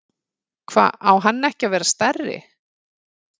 Hva, á hann ekki að vera stærri?